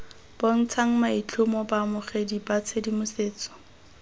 bontshang maitlhomo baamogedi ba tshedimosetso